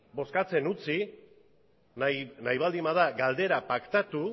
bozkatzen utzi nahi baldin bada galdera paktatu